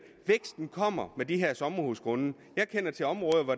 er kommer med de her sommerhusgrunde jeg kender til områder hvor